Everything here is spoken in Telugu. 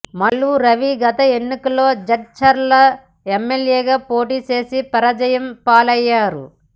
మల్లు రవి గత ఎన్నికల్లో జడ్చర్ల ఎమ్మెల్యేగా పోటీ చేసి పరాజయం పాలయ్యారు